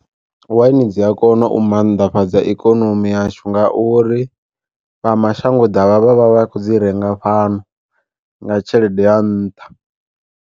Waini dzi a kona u mannḓafhadza ikonomi yashu nga uri vha mashango ḓavha vhavha vha khou dzi renga fhano nga tshelede ya nṱha.